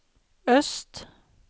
øst